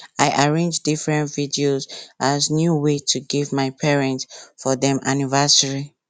i arrange different videos as new way to give my parents for dem anniversary